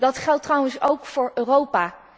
Dat geldt trouwens ook voor Europa.